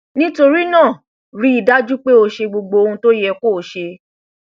nítorí náà rí i dájú pé o ṣe gbogbo ohun tó yẹ kó o ṣe